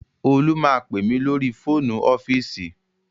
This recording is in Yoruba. Olú máa pè mí lórí fóònù ọ́fíìsì